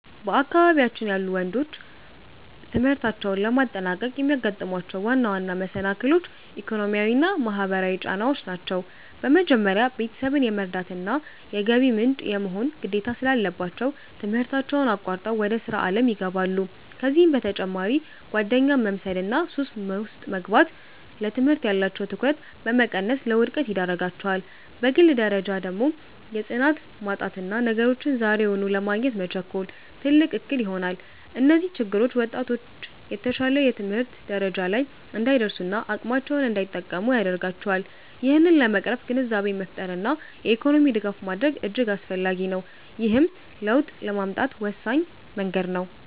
በአካባቢያችን ያሉ ወንዶች ትምህርታቸውን ለማጠናቀቅ የሚያጋጥሟቸው ዋና ዋና መሰናክሎች፣ ኢኮኖሚያዊና ማህበራዊ ጫናዎች ናቸው። በመጀመሪያ፣ ቤተሰብን የመርዳትና የገቢ ምንጭ የመሆን ግዴታ ስላለባቸው፣ ትምህርታቸውን አቋርጠው ወደ ሥራ ዓለም ይገባሉ። ከዚህም በተጨማሪ ጓደኛን መምሰልና ሱስ ውስጥ መግባት፣ ለትምህርት ያላቸውን ትኩረት በመቀነስ ለውድቀት ይዳርጋቸዋል። በግል ደረጃ ደግሞ የጽናት ማጣትና ነገሮችን ዛሬውኑ ለማግኘት መቸኮል፣ ትልቅ እክል ይሆናል። እነዚህ ችግሮች ወጣቶች የተሻለ የትምህርት ደረጃ ላይ እንዳይደርሱና አቅማቸውን እንዳይጠቀሙ ያደርጋቸዋል። ይህንን ለመቅረፍ ግንዛቤን መፍጠርና የኢኮኖሚ ድጋፍ ማድረግ እጅግ አስፈላጊ ነው፤ ይህም ለውጥ ለማምጣት ወሳኝ መንገድ ነው።